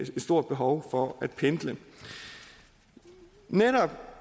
stort behov for at pendle netop